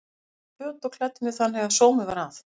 Þær gáfu mér föt og klæddu mig þannig að sómi var að.